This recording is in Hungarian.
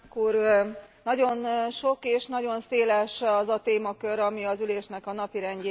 Nagyon sok és nagyon széles az a témakör, ami az ülésnek a napirendjére került.